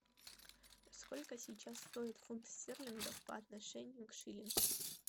сколько сейчас стоит фунт стерлингов по отношению к шиллингу